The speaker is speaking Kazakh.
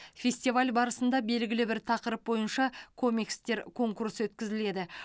фестиваль барысында белгілі бір тақырып бойынша комикстер конкурсы өткізіледі